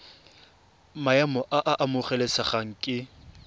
maemo a a amogelesegang ke